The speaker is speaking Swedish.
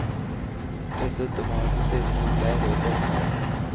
Dessutom har jag precis varit ledig och bortrest.